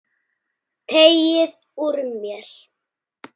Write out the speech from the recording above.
Teygði úr mér.